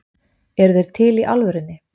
Eru þeir til í alvörunni?